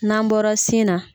N'an bɔra sin na.